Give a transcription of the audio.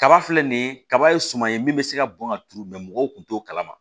Kaba filɛ nin kaba ye suman ye min bɛ se ka bɔn ka turu mɔgɔw kun t'o kalama